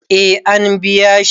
eh an biya shi